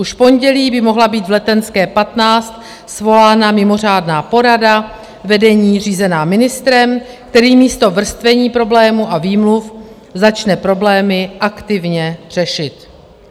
Už v pondělí by mohla být v Letenské 15 svolána mimořádná porada vedení řízená ministrem, který místo vrstvení problémů a výmluv začne problémy aktivně řešit.